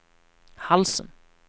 halsen